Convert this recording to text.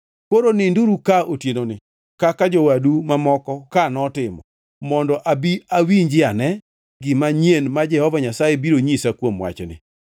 Koro ninduru ka otienoni kaka jowadu mamoko ka notimo, mondo abi awinjiane gima nyien ma Jehova Nyasaye biro nyisa kuom wachni.”